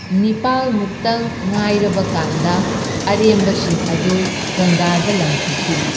ꯅꯤꯄꯥꯜ ꯃꯨꯛꯇꯪ ꯉꯥꯏꯔꯕꯀꯥꯟꯗ ꯑꯔꯦꯝꯕꯁꯤꯡ ꯑꯗꯨ ꯒꯪꯒꯥꯗ ꯂꯪꯊꯈꯤ꯫